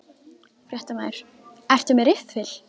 Fréttamaður: Ertu með riffil?